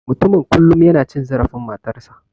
Mutumin kullum yana cin zarafin matarsa.